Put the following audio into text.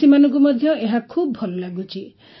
ଚାଷୀମାନଙ୍କୁ ମଧ୍ୟ ଏହା ଖୁବ୍ ଭଲ ଲାଗୁଛି